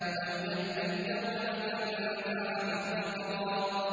أَوْ يَذَّكَّرُ فَتَنفَعَهُ الذِّكْرَىٰ